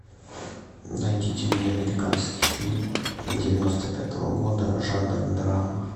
найдите мне американский фильм девяносто пятого года жанр драма